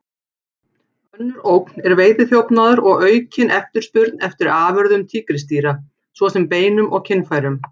Önnur ógn er veiðiþjófnaður og aukin eftirspurn eftir afurðum tígrisdýra, svo sem beinum og kynfærum.